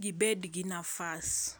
gibed gi nafas.